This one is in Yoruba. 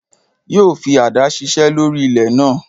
Yóò fi àdá ṣiṣẹ́ lórí ilẹ̀ náà